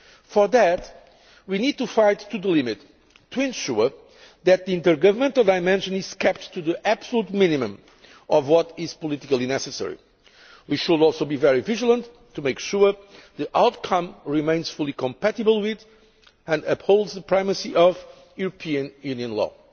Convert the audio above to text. For that, we need to fight to the limit to ensure that the intergovernmental dimension is kept to the absolute minimum of what is politically necessary. We should also be very vigilant in making sure the outcome remains fully compatible with, and upholds the primacy of, EU